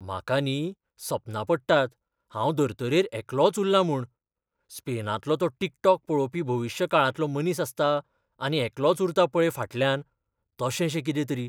म्हाका न्ही सपनां पडटात हांव धर्तरेर एकलोंच उल्लां म्हूण. स्पेनांतलो तो टिकटॉक पळोवपी भविश्य काळांतलो मनीस आसता, आनी एकलोच उरता पळय फाटल्यान, तशेशें कितें तरी.